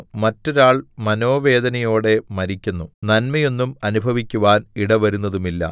മറ്റൊരാൾ മനോവേദനയോടെ മരിക്കുന്നു നന്മയൊന്നും അനുഭവിക്കുവാൻ ഇടവരുന്നതുമില്ല